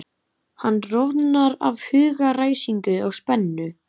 Hann roðnar af hugaræsingi og spennu.